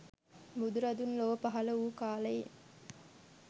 බුදුරදුන් ලොව පහළ වූ කාලයේ